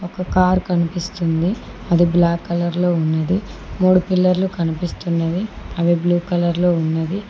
ఒక కార్ కనిపిస్తుంది అది బ్లాక్ కలర్లో ఉన్నది మూడు పిల్లర్లు కనిపిస్తున్నవి అవి బ్లూ కలర్లో ఉన్నవి.